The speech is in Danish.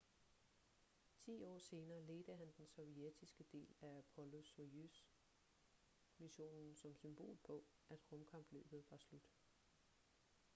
ti år senere ledte han den sovjetiske del af apollo-soyuz-missionen som symbol på at rumkapløbet var slut